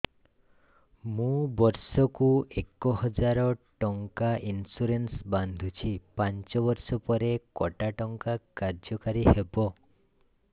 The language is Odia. ମୁ ବର୍ଷ କୁ ଏକ ହଜାରେ ଟଙ୍କା ଇନ୍ସୁରେନ୍ସ ବାନ୍ଧୁଛି ପାଞ୍ଚ ବର୍ଷ ପରେ କଟା ଟଙ୍କା କାର୍ଯ୍ୟ କାରି ହେବ